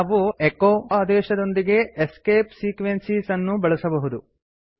ನಾವು ಎಚೊ ಅದೇಶದೊಂದಿಗೆ escape sequences ಅನ್ನೂ ಬಳಸಬಹುದು